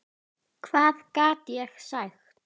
Hvað gat ég sagt?